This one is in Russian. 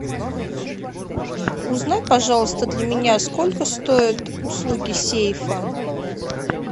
узнай пожалуйста для меня сколько стоят услуги сейфа